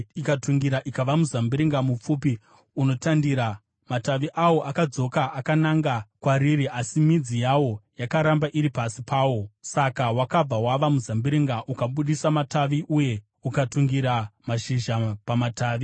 ikatungira ikava muzambiringa mupfupi unotandira. Matavi awo akadzoka akananga kwariri, asi midzi yawo yakaramba iri pasi pawo. Saka wakabva wava muzambiringa ukabudisa matavi uye ukatungira mashizha pamatavi.